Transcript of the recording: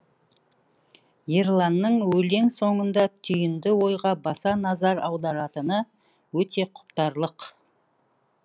ерланның өлең соңында түйінді ойға баса назар аударатыны өте құптарлық